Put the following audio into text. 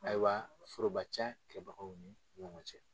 Ayiwa foroba ca kɛlɛbagaw ni ɲɔgɔn cɛ